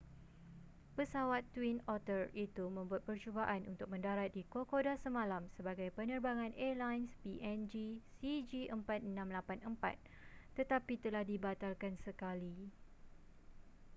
pesawat twin otter itu membuat percubaan untuk mendarat di kokoda semalam sebagai penerbangan airlines png cg4684 tetapi telah dibatalkan sekali